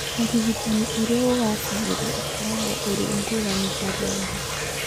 Ũrigitani ũrĩa ũgaacagĩra ũkoragwo ũrĩ ngũrani harĩ andũ.